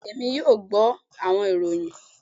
bẹẹni Emi yoo gbọ awọn iroyin